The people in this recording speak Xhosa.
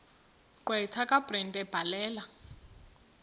gqwetha kabrenda ebhalela